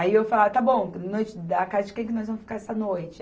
Aí eu falava, está bom, que noite, na noite da casa de quem que nós vamos ficar essa noite?